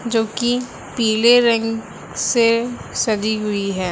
जोकि पीले रंग से सजी हुई है।